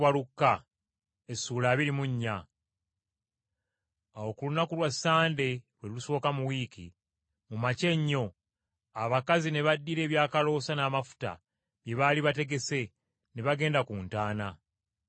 Awo ku lunaku Lwassande , lwe lusooka mu wiiki, mu makya ennyo, abakazi ne baddira ebyakaloosa n’amafuta, bye baali bategese, ne bagenda ku ntaana.